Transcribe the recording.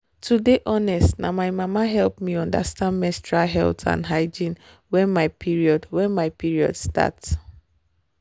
to dey honest na my mama help me understand menstrual health and hygiene wen my period wen my period start